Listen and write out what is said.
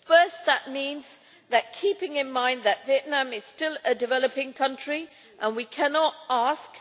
Firstly, this means keeping in mind that Vietnam is still a developing country and we cannot ask